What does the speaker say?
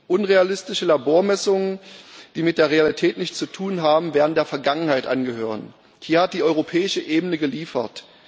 Unrealistische Labormessungen, die mit der Realität nichts zu tun haben, werden der Vergangenheit angehören. Hier hat die europäische Ebene geliefert.